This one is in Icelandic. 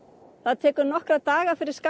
það tekur nokkra daga fyrir